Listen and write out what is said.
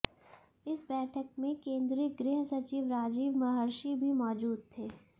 इस बैठक में केंद्रीय गृह सचिव राजीव महर्षि भी मौजूद थे